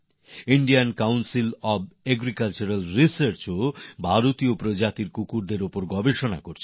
ভারতীয় কৃষি অনুসন্ধান পর্ষদ আই সি এ আর ও ভারতীয় প্রজাতির কুকুরএর উপরে গবেষনা করছে